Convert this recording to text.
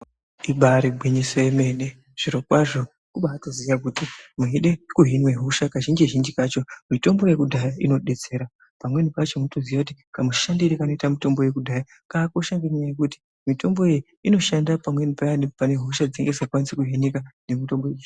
Ibaari gwinyiso yemene zvirokwazvo kubaatoziya kuti weida kuhinwe hosha kazhinji- zhinji kacho mitombo yekudhaya inobetsera. Pamweni pachona unotoziya kuti kamushandire kanoite mitombo yekudhaya kakakosha nendaa yekuti mitomboyo inoshanda pamweni payani pane hosha dzisingakwanise kuhinika nemitombo yechiyungu.